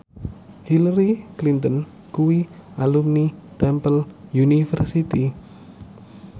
Hillary Clinton kuwi alumni Temple University